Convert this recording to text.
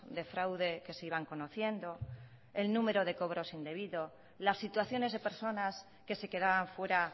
de fraude que se iban conociendo el número de cobros indebidos las situaciones de personas que se quedaban fuera